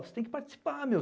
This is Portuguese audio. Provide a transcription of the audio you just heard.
Você tem que participar, meu.